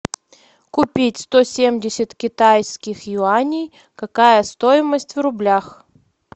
купить сто семьдесят китайских юаней какая стоимость в рублях